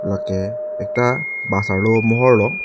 lake ekta bus arlo amohor lo.